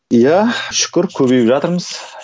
иә шүкір көбейіп жатырмыз